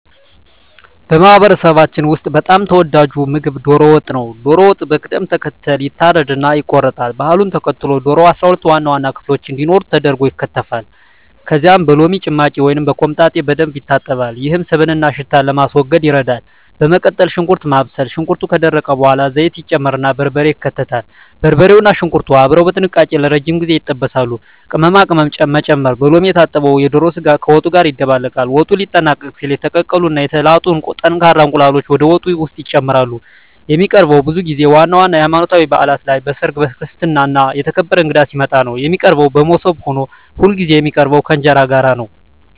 በማህበረሰባችን ውስጥ በጣም ተወዳጁ ምግብ ዶሮ ወጥ ነው። ዶሮው በቅደም ተከተል ይታረድና ይቆረጣል። ባህሉን ተከትሎ ዶሮው 12 ዋና ዋና ክፍሎች እንዲኖሩት ተደርጎ ይከተፋል። ከዚያም በሎሚ ጭማቂ ወይም በኮምጣጤ በደንብ ይታጠባል፤ ይህም ስብንና ሽታን ለማስወገድ ይረዳል። በመቀጠል ሽንኩርት ማብሰል፣ ሽንኩርቱ ከደረቀ በኋላ ዘይት ይጨመርና በርበሬ ይከተላል። በርበሬውና ሽንኩርቱ አብረው በጥንቃቄ ለረጅም ጊዜ ይጠበሳሉ። ቅመማ ቅመም መጨመር፣ በሎሚ የታጠበው የዶሮ ስጋ ከወጡ ጋር ይደባለቃል። ወጡ ሊጠናቀቅ ሲል የተቀቀሉ እና የተላጡ ጠንካራ እንቁላሎች ወደ ወጡ ውስጥ ይጨመራሉ። የሚቀርበውም ብዙ ጊዜ ዋና ዋና የሀይማኖታዊ ባእላት ላይ፣ በሰርግ፣ በክርስትና እና የተከበረ እንግዳ ሲመጣ ነው። የሚቀርበውም በሞሰብ ሆኖ ሁልጊዜ የሚቀርበው ከእንጀራ ጋር ነው።